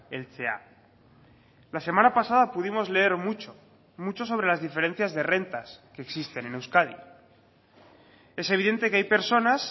heltzea la semana pasada pudimos leer mucho mucho sobre las diferencias de rentas que existen en euskadi es evidente que hay personas